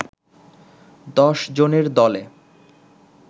দশ জনের দলে